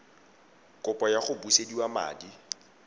kopo ya go busediwa madi